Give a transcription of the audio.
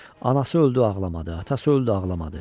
Anası öldü ağlamadı, atası öldü ağlamadı.